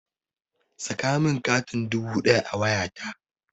Saka min katin dubu ɗaya a wayata!